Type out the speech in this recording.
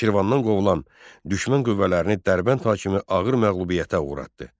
Şirvandan qovulan düşmən qüvvələrini Dərbənd hakimi ağır məğlubiyyətə uğratdı.